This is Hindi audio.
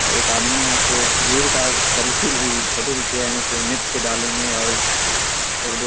और एक आदमी है सो भीड़ का सेल्फी ली फोटो खिच रहे है सो नेट पे डालेंगे और एक दो --